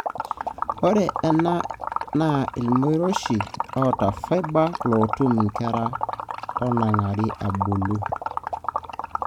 ore ena na ilmoirioshi ota fibre lotum inkera onagira abulu.